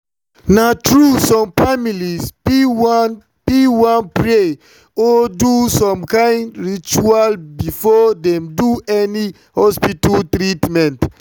na true some families fit wan fit wan pray or do some kind rituals before dem do any hospital treatment.